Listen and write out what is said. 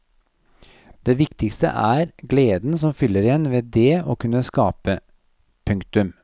Det viktigste er gleden som fyller en ved dét å kunne skape. punktum